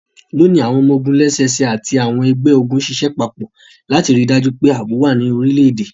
Loni, awọn ọmọ-ogun lẹ́sẹsẹ ati àwọn ẹgbẹ-ogun ṣiṣẹ papọ lati rii daju pe aabo wa ní orilẹ-ede.